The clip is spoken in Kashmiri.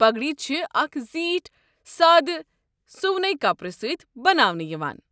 پگڈی چھِ اکہِ زیٖٹھ سادٕ سُونے کپرٕ سۭتۍ بناونہٕ یِوان۔